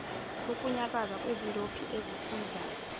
ukunyakaza kwezindophi ezisiza